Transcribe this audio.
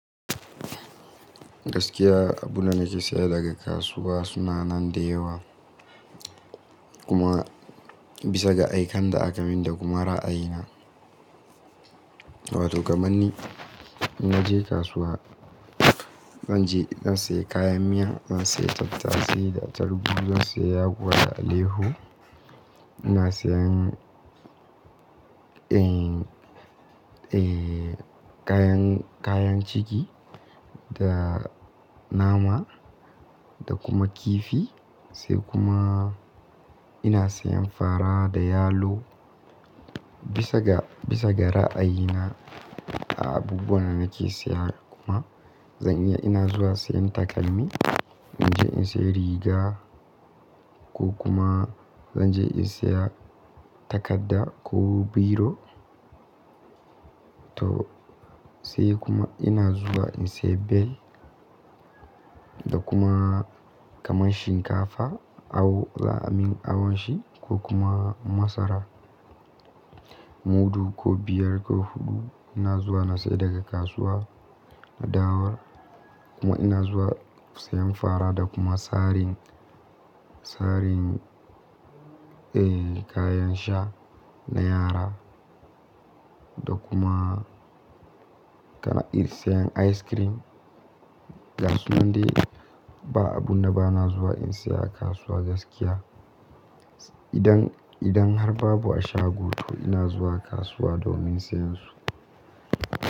Gaskiya abunda nake siya daga kasuwa suna nan da yawa. Kuma bisa ga aiken da aka min da kuma ra'ayina. To kamar ni, indan na je kasuwa, zan je zan siya kayan miya, zan siya tattasai da atarugu, zan siya yakuwa da alaiyyahu. Ina sayen, eh, eh, kayan, kayan ciki da nama da kuma kifi. Sai kuma ina sayen fara da yalo bisa ga, bisa ga ra'ayina a abubuwan da nake saye kuma zan iya zuwa sayen takalmi. Na je in siya riga ko kuma zanje in siya takadda ko biro. To sai kuma ina zuwa in siya bel da kuma kamar shinkafa, awo, za a min awon sa ko kuma masara. Mudu ko biyar ko huɗu in je in saya daga kasuwa na dawo. Kuma ina zuwa siyan fara da kuma saran, sarin, eh, kayan sha na yara. Da kuma kana iya sayan ice cream. Ga su nan dai ba wani abu da nake zuwa in siya a kasuwa gaskiya. Idan, idan har babu a shago to ina zuwa kasuwa domin siyansu.